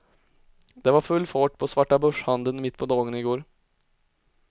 Det var full fart på svartabörshandeln mitt på dagen i går.